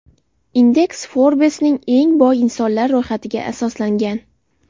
Indeks Forbes’ning eng boy insonlar ro‘yxatiga asoslangan.